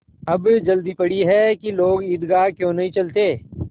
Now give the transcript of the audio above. अब जल्दी पड़ी है कि लोग ईदगाह क्यों नहीं चलते